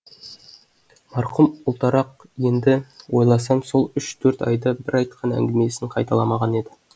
марқұм ұлтарақ енді ойласам сол үш төрт айда бір айтқан әңгімесін қайталамаған еді